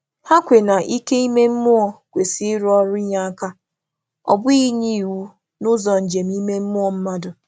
Hà kwè na ike ime mmụọ kwesị um ịrụ ọrụ inyé aka, ọ bụghị inye iwu n’ụzọ njem um ime mmụọ mmadụ.